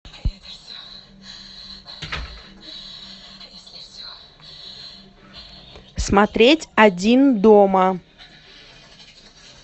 смотреть один дома